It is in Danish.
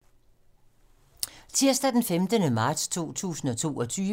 Tirsdag d. 15. marts 2022